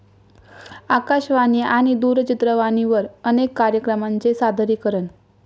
आकाशवाणी आणि दूरचित्रवाणीवर अनेक कार्यक्रमांचे सादरीकरण.